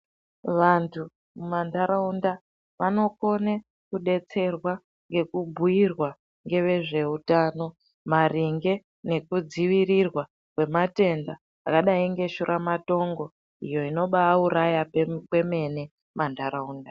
Vantu mumanharaunda vanokone kudetserwa ngekubhuirwa ngevezveutano maringe nekudziirirwa kwezvirwere zvakadayi ngeshuramatongo inobaauraya kwemene mumanharaunda.